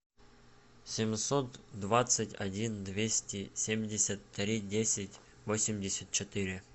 семьсот двадцать один двести семьдесят три десять восемьдесят четыре